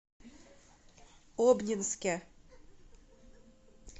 обнинске